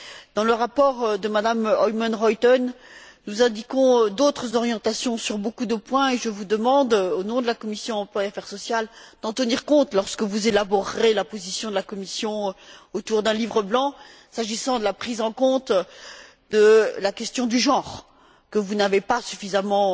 Dans le rapport de Mme Oomen Ruijten, nous indiquons d'autres orientations sur beaucoup de points et je vous demande, au nom de la commission de l'emploi et des affaires sociales, d'en tenir compte lorsque vous élaborerez la position de la Commission autour d'un livre blanc, s'agissant de la prise en compte de la question du genre, que vous n'avez pas suffisamment